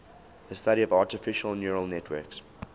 the study of artificial neural networks